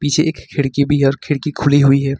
छे एक खिड़की भी है और खिड़की खुली हुई है।